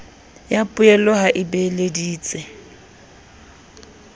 ya poello ha o beeleditse